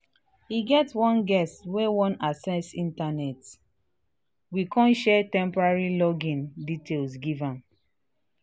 e get one guest wey wan access internet we kan share temporary login details give am